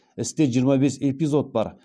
істе жиырма бес эпизод бар